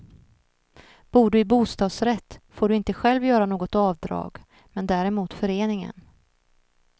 Bor du i bostadsrätt får du inte själv göra något avdrag, men däremot föreningen.